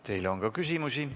Teile on ka küsimusi.